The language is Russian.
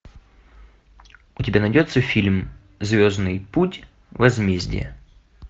у тебя найдется фильм звездный путь возмездие